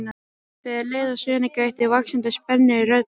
Þegar leið á söguna gætti vaxandi spennu í röddinni.